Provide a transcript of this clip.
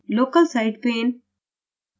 local site pane